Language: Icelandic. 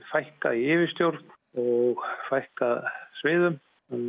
fækka í yfirstjórn fækka sviðum